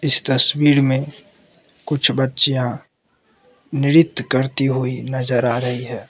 तस्वीर में कुछ बच्चियां नृत्य करती हुई नजर आ रही है।